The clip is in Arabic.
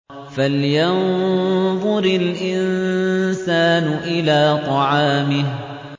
فَلْيَنظُرِ الْإِنسَانُ إِلَىٰ طَعَامِهِ